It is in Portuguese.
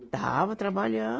Estava